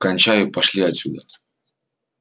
кончай и пошли отсюда